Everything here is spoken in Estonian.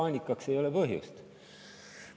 Paanikaks ei ole põhjust.